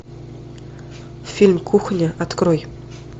фильм кухня открой